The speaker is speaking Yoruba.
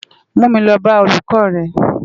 Mú mi lò bá ólúkò rè